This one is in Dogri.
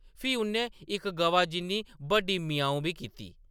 फ्ही उʼन्नै इक गवा जिन्नी बड्डी ‘म्याऊं’ बी कीती।